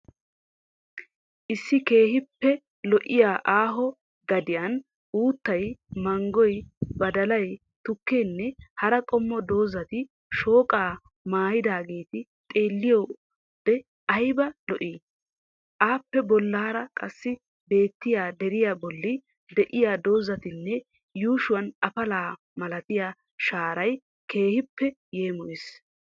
Issi keehiippe lo'iyaa aaho gadiyan uttay, manggoy, badallay, tukkeenne hara qommo doozzatti shooqqaa maayidaageeti xeelliyode aybba lo'ii? Appe bollaara qassi beettiya deriya bolli de'iyaa doozzatinne yuushshuwan afala malatiya shaaray keehiippe yeemoyees.